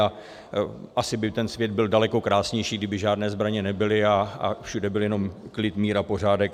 A asi by ten svět byl daleko krásnější, kdyby žádné zbraně nebyly a všude byl jenom klid, mír a pořádek.